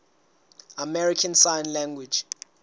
american sign language